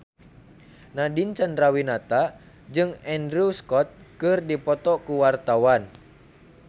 Nadine Chandrawinata jeung Andrew Scott keur dipoto ku wartawan